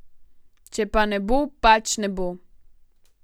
Če pa ne bo, pač ne bo.